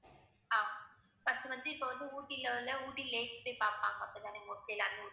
ஆஹ் first வந்து இப்ப வந்து ஊட்டில உள்ள ஊட்டி lake போய் பாப்பாங்க அப்படித்தானே mostly எல்லாருமே